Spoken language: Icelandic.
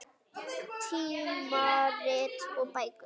Tímarit og bækur.